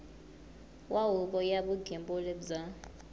wa huvo ya vugembuli bya